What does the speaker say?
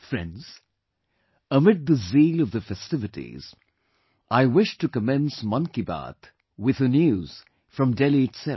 Friends, amid the zeal of the festivities, I wish to commence Mann Ki Baat with a news from Delhi itself